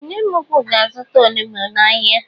Ee nne mụ ụkwụ ga-azuta ọnụgbu n' áhiá.